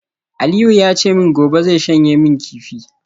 Aliu ya ce min gobe zai shanye min kifi